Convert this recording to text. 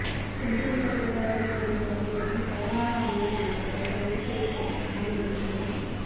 சென்றுவிட கூடாது என்றவகையிலும் கருணா அம்மான் அவர்கள் கைது செய்யப்பட்டிருக்கலாம் என்பதுதான்